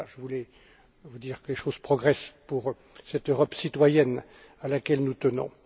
Je voulais vous dire que les choses progressent pour cette Europe citoyenne à laquelle nous tenons.